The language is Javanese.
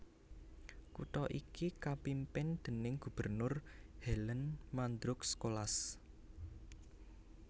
Kutha iki kapimpin déning gubernur Hélène Mandroux Colas